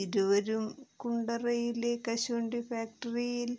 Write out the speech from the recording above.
ഇരുവരും കുണ്ടറയിലെ കശുവണ്ടി ഫാക്ടറിയിൽ